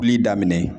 Kuli daminɛ